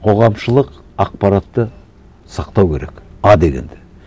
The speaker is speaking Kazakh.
қоғамшылық ақпаратты сақтау керек а дегенде